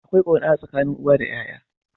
Akwai kauna a tsakanin uwa da yaya.